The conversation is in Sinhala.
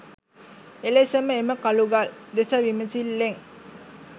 එලෙසම එම කළුගල් දෙස විමසිල්ලෙන්